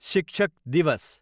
शिक्षक दिवस